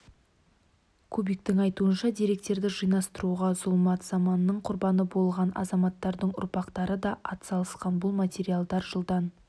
кубиктің айтуынша деректерді жинастыруға зұлмат заманның құрбаны болған азаматтардың ұрпақтары да атсалысқан бұл материалдар жылдан